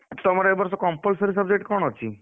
ତମର ଏ ବର୍ଷ compulsory subject କଣ ଅଛି?